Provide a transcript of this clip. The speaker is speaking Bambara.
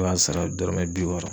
I b'a sara dɔrɔmɛ bi wɔɔrɔ.